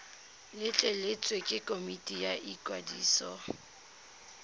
letleletswe ke komiti ya ikwadiso